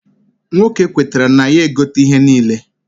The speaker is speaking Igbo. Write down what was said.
Nwoke kwetara na ya egote ihe a niile.